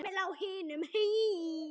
Heimili á hinum.